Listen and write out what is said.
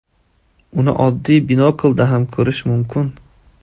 Uni oddiy binoklda ham ko‘rish mumkin.